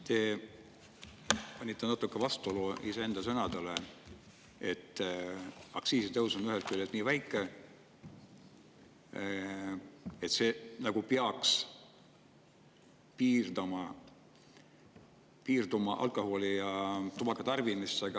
Te natuke vastuollu iseenda sõnadega: aktsiisitõus on ühest küljest nii väike, see peaks piirama alkoholi ja tubaka tarbimist.